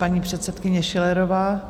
Paní předsedkyně Schillerová.